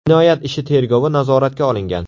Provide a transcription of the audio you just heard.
Jinoyat ishi tergovi nazoratga olingan.